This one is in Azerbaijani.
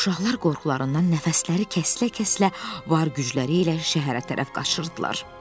Uşaqlar qorxularından nəfəsləri kəsilə-kəsilə var gücləri ilə şəhərə tərəf qaçırdılar.